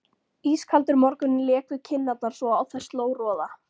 Ískaldur morgunninn lék við kinnarnar svo á þær sló roða.